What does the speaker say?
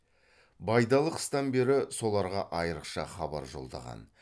байдалы қыстан бері соларға айрықша хабар жолдаған